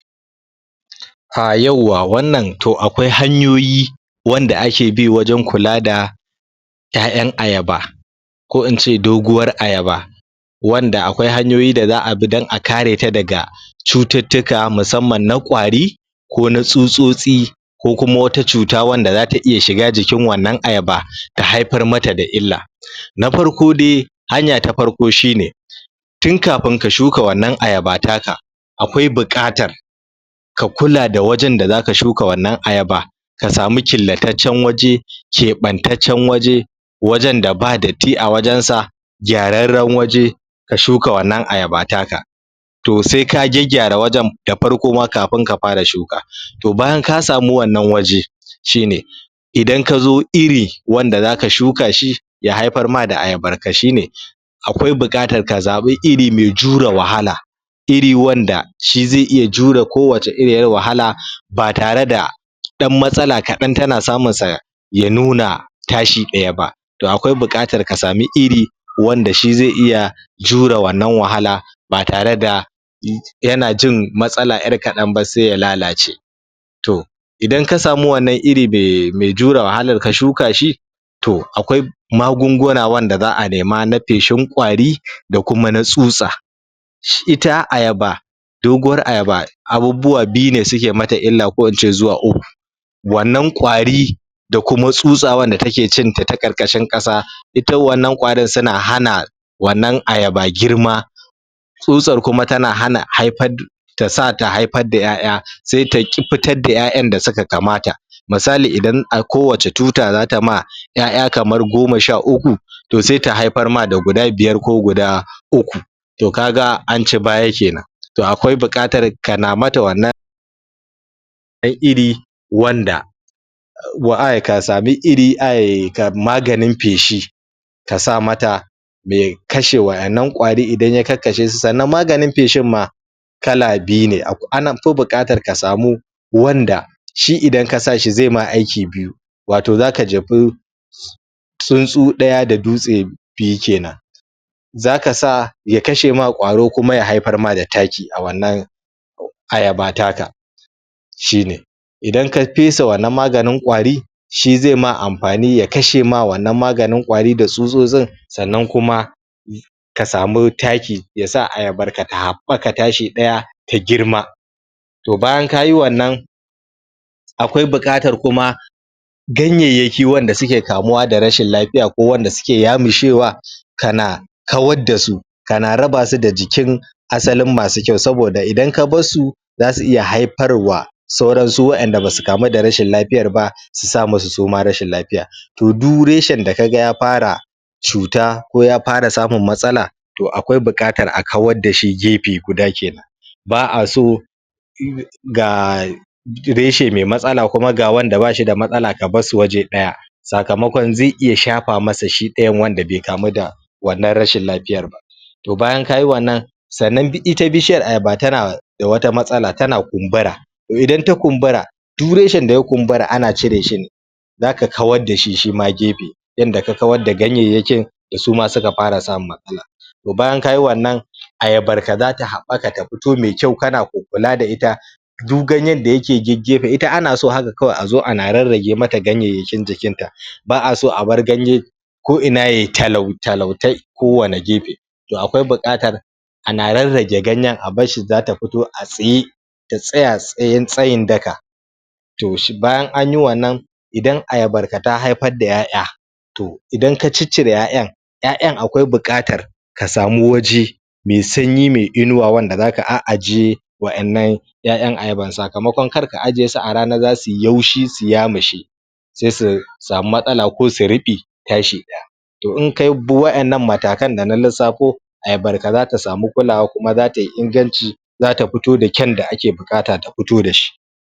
Ah yauwa,, wannan to akwai hanyoyi wanda ake bi wajen kula da ƴaƴan ayaba ko in ce doguwar ayaba wanda akwai hanyoyi da za'a bi don a kareta daga cututtuka, musamman na ƙwari ko na tsutsotsi ko kuma wata cuta wanda zata iya shiga jikin wannan ayaba ta haifar mata da illa. na farko dai hanya ta farko shine, tun kafin ka shuka wannan ayaba taka akwai buƙatar ka kula da wajen da zaka shuka wannan ayaba ka sami killataccen waje keɓantaccen waje wajen da ba datti a wajensa gyararren waje ka shuka wannan ayaba ta ka to sai ka gyaggyara wajen da farko ma kafin ka fara shuka to bayan ka sami wannan waje shine idan kazo iri wanda zaka shuka shi ya haifar ma da ayabar ka shine akwai buƙatar ka zaɓi iri mai jure wahala iri wanda shi zai iya jure ko wace iriyar wahala ba tare da ɗan matsala kaɗan tana samunsa ya nuna ta shi ɗaya ba. To akwai buƙatar ka sami iri wanda shi zai iya jure wannan wahala ba tare da yana jin matsala ƴar kaɗan ba sai ya lalace To, idan ka sami wannan irin mai jure wahar ka shuka shi, to, akwai magunguna wanda za'a nema na feshin ƙwari da kuma na tsutsa. Ita ayaba, doguwar ayaba abubuwa biyu ne suke mata illa, ko in ce zuwa uku wannan ƙwari da kuma tsutsa wanda take cinta ta ƙarƙashin ƙasa ita wannan ƙwarin suna hana wannan ayaba girma tsutsar kuma tana hana haifar tasa ta haifar da ƴaƴa sai taƙi fitar da ƴaƴan da suka kamata misali, idan a kowace tuta zata ma ƴaƴa kamar goma sha uku, to sai ta haifar ma da guda biyar ko guda uku to kaga an ci baya kenan to akwai buƙatar kana mata wannan ko iri wanda ko a ka sami iri, ai maganin feshi ka sa mata kashe waɗannan ƙwari, idan ya kakkashesu, sannan maganin feshin ma kala biyu ne, anfi buƙatar ka samu wanda shi idan ka sa shi zai maka aiki biyu wato zaka jefi tsuntsu ɗaya da dutse biyu kenan. zaka sa ya kashe ma ƙwaro kuma ya haifar ma da taki a wannan ayaba taka shine idan ka fesa wannan maganin ƙwari, shi zai ma amfani ya kashe ma wannan maganin ƙwarin da tsutsotsin sannan kuma ka sami taki yasa ayabar ta haɓaka tashi ɗaya ta girma. To bayan kayi wannan akwai buƙatar kuma ganyayyaki wanda suke kamuwa da rashin lafiya ko wanda suke yamushewa kana kawar dasu kana rabasu da jikin asalin masu kyau, saboda idan ka barsu zasu iya haifar wa sauran su waɗanda basu kamu da rashin lafiyar ba su sa musu suma rashin lafiyar. To duk reshen da kaga ya fara cuta ko ya fara samun matsala to akwai buƙatar a kawar dashi gefe guda kenan ba'a so ga reshe mai matsala kuma ga wanda bashi da matsala ka barsu waje ɗaya sakamakon zai iya shafa masa shi ɗayan wanda bai kamu da wannan rashin lafiyar ba. To bayan kayi wannan sannan ita bishiyar ayaba tana da wata matsala, tana kumbura to idan ta kumbura duk reshen da ya kumbura ana cireshi ne zaka kawar dashi shima gefe, yanda ka kawar da ganyayyaki da suma suka fara samun matsala to bayan kayi wannan ayabar ka zata haɓaka ta fito mai kyau kana kukkula da ita duk ganyen da yake geggefe, ita anaso haka kawai azo ana rarrage mata ganyayyakin jikinta ba'aso a bar ganye ko ina yai talau talau ta ko wani gefe to akwai buƙatar ana rarrage ganyen, a barshi zata fito a tsaye ta tsaya tsayen tsayin daka to shi bayan anyi wannan, idan ayabar ka ta haifar da ƴaƴa to, idan ka ciccire ƴaƴan ƴaƴan akwai buƙatar ka samu waje, mai sanyi mai inuwa wanda zaka a'ajiye wa innan ƴaƴan ayaban, sakamakon kar ka ajiyesu a rana zasuyi yaushi su yamushe sai su sami matsala ko su ruɓe tashi ɗaya To in kabi waɗannan matakan da na lissafo, ayabar ka zata samu kulawa kuma zatayi inganci zata fito da kyan da ake buƙata ta fito dashi.